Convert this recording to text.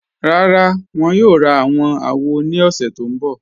Rárá, wọn yóò rá àwọn àwò ni ọ̀ṣẹ̀ tó nbọ̀.